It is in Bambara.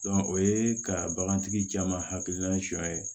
o ye ka bagan tigi caman hakilina sɔ ye